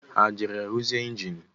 Ha e jere ruzie enjini?